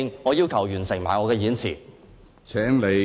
我要求完成我的演辭。